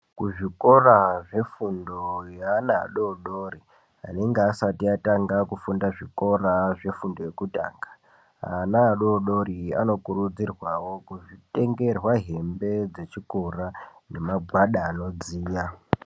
Kuzvikora zvefundo yevana vadodori vanenge vasati vatanga fundo yekutanga ana adodori anokurudzirwawo kutengerwa hembe yechikora nemagwada anodziya.